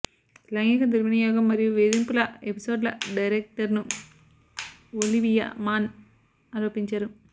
లైంగిక దుర్వినియోగం మరియు వేధింపుల ఎపిసోడ్ల డైరెక్టర్ను ఒలివియా మాన్ ఆరోపించారు